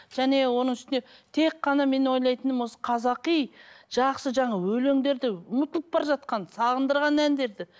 және оның үстіне тек қана мен ойлайтыным осы қазақи жақсы жаңа өлеңдерді ұмытылып бара жатқан сағындырған әндерді